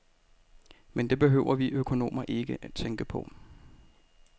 Men det behøver vi økonomer ikke tænke på.